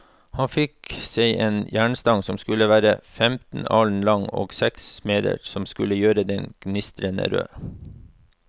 Han fikk seg en jernstang som skulle være femten alen lang, og seks smeder som skulle gjøre den gnistrende rød.